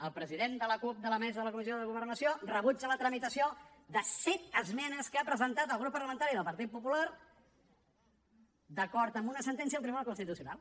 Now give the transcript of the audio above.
el president de la cup de la mesa de la comissió de governació rebutja la tramitació de set esmenes que ha presentat el grup parlamentari del partit popular d’acord amb una sentència del tribunal constitucional